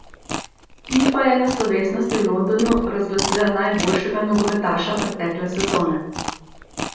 Fifa je na slovesnosti v Londonu razglasila najboljšega nogometaša pretekle sezone.